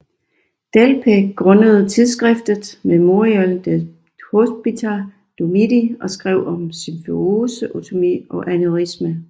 Delpech grundede tidsskriftet Mémorial des hopitaux du midi og skrev om symfyseotomi og aneurismer